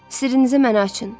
Sirrinizi mənə açın.